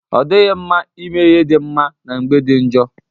o dighi nma ime ihe di nma na mgbe di njo.